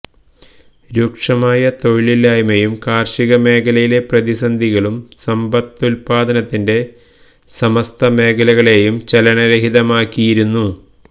രൂക്ഷമായ തൊഴിലില്ലായ്മയും കാര്ഷിക മേഖലയിലെ പ്രതിസന്ധികളും സമ്പത്തുത്പാദനത്തിന്റെ സമസ്ത മേഖലകളെയും ചലന രഹിതമാക്കിയിരിക്കുന്നു